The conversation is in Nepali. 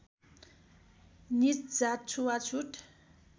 नीच जात छुवाछुत